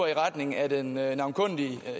i retning af den navnkundige